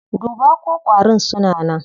Duba ko ƙwarin suna nan.